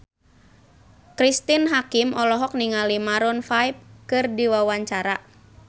Cristine Hakim olohok ningali Maroon 5 keur diwawancara